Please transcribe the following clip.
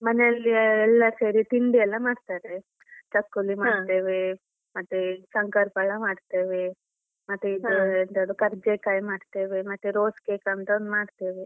ಮನೇಲಿ ಎಲ್ಲ ಸೇರಿ ತಿಂಡಿ ಎಲ್ಲ ಮಾಡ್ತಾರೆ. ಚಕ್ಕುಲಿ ಮಾಡ್ತೇವೆ, ಮತ್ತೆ ಶಂಕರ್ ಪಳ್ಳ ಮಾಡ್ತೇವೆ ಮತ್ತೆ ಇದು ಎಂತದು ಕರ್ಜೆಕಾಯಿ ಮಾಡ್ತೇವೆ ಮತ್ತೆ rose cake ಅಂತ ಒಂದ್ ಮಾಡ್ತೇವೆ.